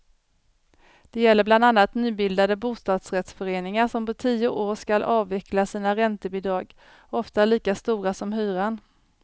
Det gäller bland annat nybildade bostadsrättsföreningar, som på tio år skall avveckla sina räntebidrag, ofta lika stora som hyran.